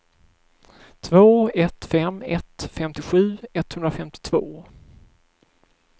två ett fem ett femtiosju etthundrafemtiotvå